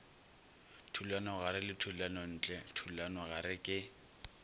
thulanogare le thulanontle thulanogare ke